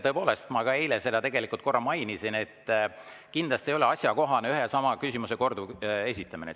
Tõepoolest, ma eile seda tegelikult korra mainisin, et kindlasti ei ole asjakohane ühe ja sama küsimuse korduv esitamine.